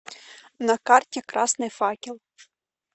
на карте красный факел